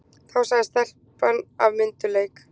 Þá sagði telpan af myndugleik